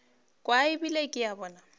kwa ebile ke a bona